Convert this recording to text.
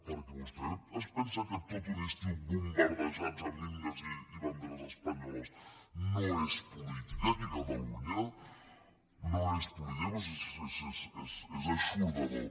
perquè vostè es pensa que tot un estiu bombardejats amb himnes i banderes espanyoles no és política aquí a catalunya no és política però si és eixordador